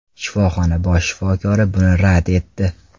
Shifoxona bosh shifokori buni rad etdi.